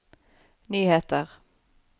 nyheter